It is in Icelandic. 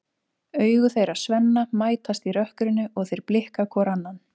Augu þeirra Svenna mætast í rökkrinu og þeir blikka hvor annan.